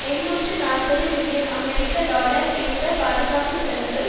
எண்ணூற்று நாற்பது மில்லியன் அமெரிக்க டொலர் இருந்த பாதுகாப்பு செலவு